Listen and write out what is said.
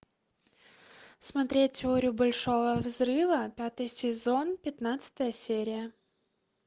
смотреть теорию большого взрыва пятый сезон пятнадцатая серия